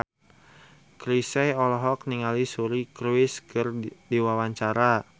Chrisye olohok ningali Suri Cruise keur diwawancara